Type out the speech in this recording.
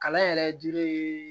Kalan yɛrɛ ji